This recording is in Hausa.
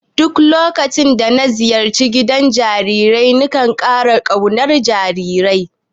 Duk lokacin da na ziyarci gidan jarirai ina ƙara ƙaunar jarirai.